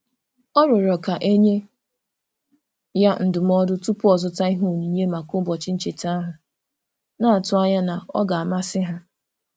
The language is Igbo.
Ọ rịọrọ ka e nye ya ndụmọdụ tupu ọ zụta ihe onyinye maka ụbọchị ncheta ahụ, na-atụ anya na ọ ga-amasị ha.